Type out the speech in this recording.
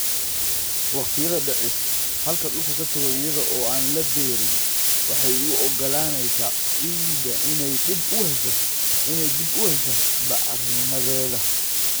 Waqtiyada dhicis, halka dhulku ka tago iyada oo aan la beerin, waxay u oggolaanaysaa ciidda inay dib u hesho bacrinnimadeeda.